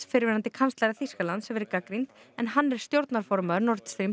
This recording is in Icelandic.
fyrrverandi kanslara Þýskalands verið gagnrýnd en hann er stjórnarformaður nord